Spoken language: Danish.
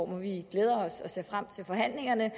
hvor vi glæder os og ser frem til forhandlingerne